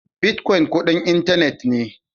Bitcoin kudin intanet ne.